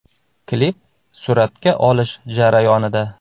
Klip suratga olish jarayonida.